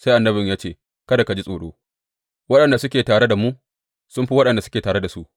Sai annabin ya ce, Kada ka ji tsoro, waɗanda suke tare da mu sun fi waɗanda suke tare da su.